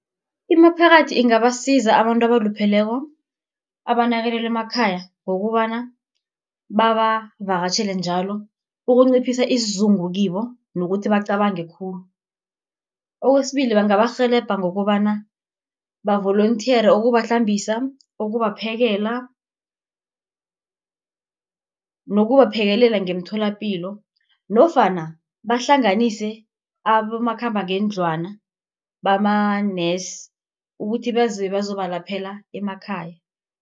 Imiphakathi ingabasiza abantu abalupheleko, abanakelelwa emakhaya ngokobana babavakatjhele njalo, ukunciphisa isizungu kibo, nokuthi bacabange khulu. Kwesibili bangabarhelebha ngokobana, ba-volunthere ukubahlambisa, ukubaphekela nokubaphekelela ngeemtholapilo nofana bahlanganise abomakhambangendlwana bamanesi ukuthi beze bazobalaphela emakhaya.